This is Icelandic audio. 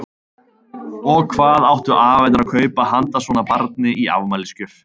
Og hvað áttu afarnir að kaupa handa svona barni í afmælisgjöf?